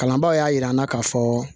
Kalanbaaw y'a jira an na k'a fɔ